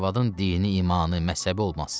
Arvadın dini, imanı, məzhəbi olmaz.